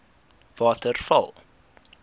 waterval